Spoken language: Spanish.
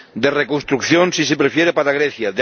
de reconstrucción, si se prefiere, para Grecia